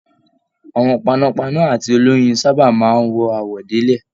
Àwọn panápaná àti oloyin sábà máa n wọ àwọ̀délẹ̀.